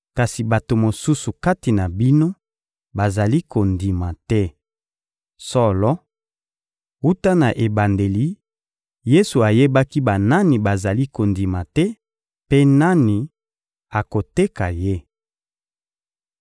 Kasi bato mosusu kati na bino bazali kondima te. Solo, wuta na ebandeli, Yesu ayebaki banani bazalaki kondima te, mpe nani akoteka Ye.